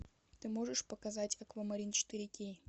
ты можешь показать аквамарин четыре кей